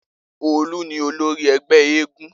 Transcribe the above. Olu ni olori egbe eégún